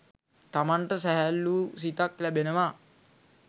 තමන්ට සැහැල්ලූ සිතක් ලැබෙනවා